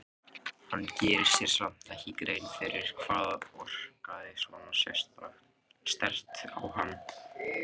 Hann gerir sér samt ekki grein fyrir hvað orkaði svona sterkt á hann.